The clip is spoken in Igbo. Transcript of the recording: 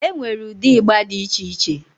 Enwee ụdị ịgba dị iche iche